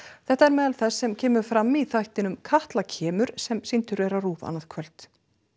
þetta er meðal þess sem kemur fram í þættinum Katla kemur sem sýndur er á RÚV annað kvöld